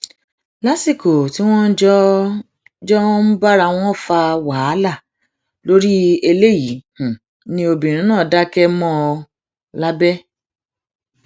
lásìkò tí wọn jọ jọ um ń bára wọn fa wàhálà lórí eléyìí ni obìnrin náà dákẹ mọ um ọn lábẹ